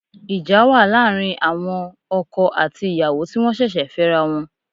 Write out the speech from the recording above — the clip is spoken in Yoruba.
Ìjà wà láàrin àwọn okò àti ìyàwó ti wọ́n ṣẹ̀ṣẹ̀ fẹ́ra wọn